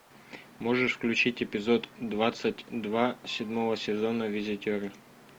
можешь включить эпизод двадцать два седьмого сезона визитеры